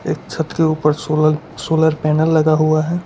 एक छत के ऊपर सोलर सोलर पैनल लगा हुआ है।